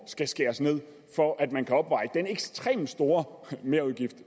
skal skæres ned for at man kan opveje den ekstremt store merudgift